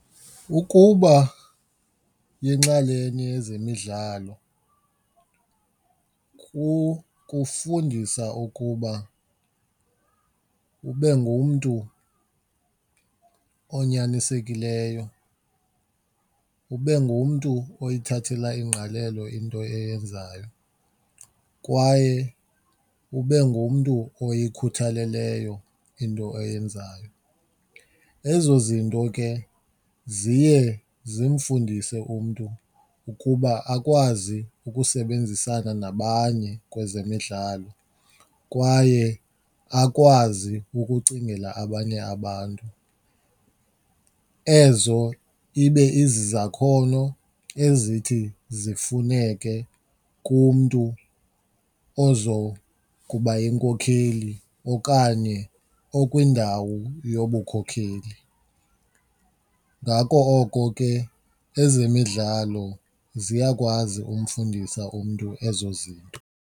Ukuba yinxalenye yezemidlalo kukufundisa ukuba ube ngumntu onyanisekileyo, ube ngumntu oyithathela ingqalelo into oyenzayo kwaye ube ngumntu oyikhuthaleleyo into oyenzayo. Ezo zinto ke ziye zimfundise umntu ukuba akwazi ukusebenzisana nabanye kwezemidlalo kwaye akwazi ukucingela abanye abantu. Ezo ibe izizakhono ezithi zifuneke kumntu ozokuba yinkokheli okanye okwindawo yobukhokheli. Ngako oko ke ezemidlalo ziyakwazi umfundisa umntu ezo zinto.